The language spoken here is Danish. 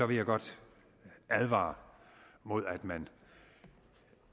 vil jeg godt advare imod at man